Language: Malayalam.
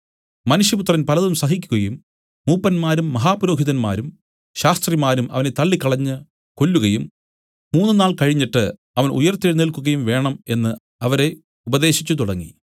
മനുഷ്യപുത്രൻ പലതും സഹിക്കുകയും മൂപ്പന്മാരും മഹാപുരോഹിതന്മാരും ശാസ്ത്രിമാരും അവനെ തള്ളിക്കളഞ്ഞു കൊല്ലുകയും മൂന്നുനാൾ കഴിഞ്ഞിട്ട് അവൻ ഉയിർത്തെഴുന്നേല്ക്കുകയും വേണം എന്നു അവരെ ഉപദേശിച്ചു തുടങ്ങി